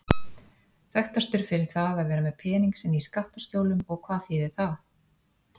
Þekktastur fyrir það að vera með pening sinn í skattaskjólum og hvað þýðir það?